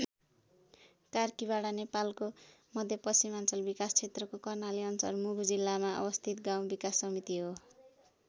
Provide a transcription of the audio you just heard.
कार्कीबाडा नेपालको मध्यपश्चिमाञ्चल विकास क्षेत्रको कर्णाली अञ्चल मुगु जिल्लामा अवस्थित गाउँ विकास समिति हो।